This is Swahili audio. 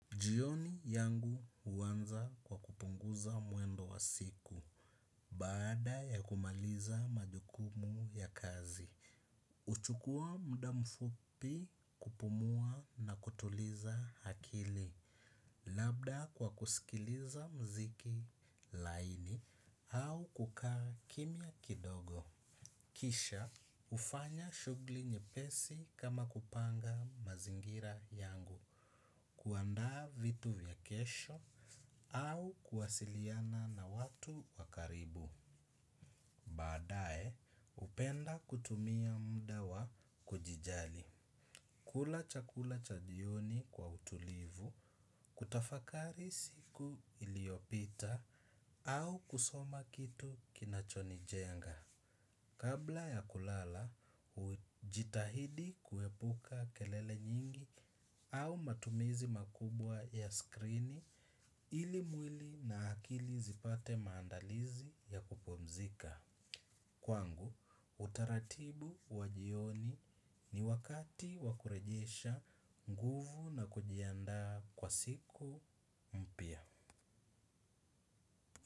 Jioni yangu huwanza kwa kupunguza mwendo wa siku, baada ya kumaliza majukumu ya kazi. Huchukua muda mfupi kupumua na kutuliza akili, labda kwa kusikiliza muziki laini au kukaa kimya kidogo. Kisha, hufanya shughuli nyepesi kama kupanga mazingira yangu kuanda vitu ya kesho au kuwasiliana na watu wakaribu. Baadaye, hupenda kutumia muda wa kujijali. Kula chakula cha jioni kwa utulivu, kutafakari siku iliopita au kusoma kitu kinachonijenga. Kabla ya kulala, hujitahidi kuepuka kelele nyingi au matumizi makubwa ya skrini ili mwili na akili zipate maandalizi ya kupumzika. Kwangu, utaratibu wa jioni ni wakati wa kurejiesha nguvu na kujianda kwa siku mpya.